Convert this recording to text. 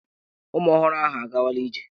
Ụmụ ọhụrụ ahụ a gawala ije.